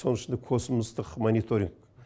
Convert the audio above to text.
соның ішінде космостық мониторинг